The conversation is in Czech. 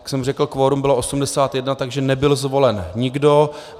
Jak jsem řekl, kvorum bylo 81, takže nebyl zvolen nikdo.